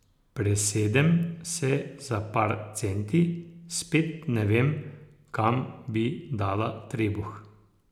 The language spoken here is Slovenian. Presedem se za par centi, spet ne vem, kam bi dala trebuh.